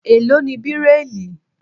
Èló ni Bíráílì?